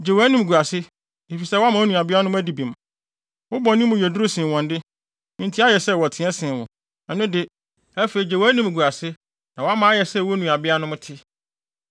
Gye wʼanimguase, efisɛ woama wo nuabeanom adi bem. Wo bɔne mu yɛ duru sen wɔn de, enti ayɛ sɛ wɔteɛ sen wo. Ɛno de, afei gye wʼanimguase na wama ayɛ sɛ wo nuabeanom te.